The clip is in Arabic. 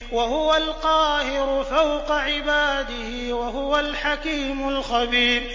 وَهُوَ الْقَاهِرُ فَوْقَ عِبَادِهِ ۚ وَهُوَ الْحَكِيمُ الْخَبِيرُ